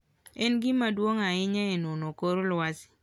En gima duong' ahinya e nono kor lwasi.